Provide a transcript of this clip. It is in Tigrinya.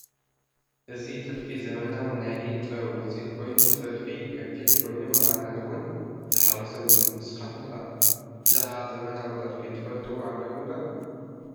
እዚ ጥልፊ ዘመናዊ ናይ ኢደ ጥበብ ውፅኢት ኮይኑ ጥልፉ ገፊሕ ኮይኑ መቐነት እውን ዝሓወሰ እዩ፡፡ ንስኻትኩም ከ ብዛዕባ ዘመናዊ ጥልፊ ትፈልጥዎ ኣለኩም ዶ?